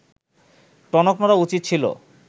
টনক নড়া উচিত ছিল